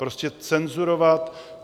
Prostě cenzurovat...